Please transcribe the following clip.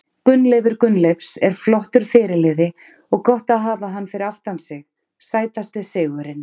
Gunnleifur Gunnleifs er flottur fyrirliði og gott að hafa hann fyrir aftan sig Sætasti sigurinn?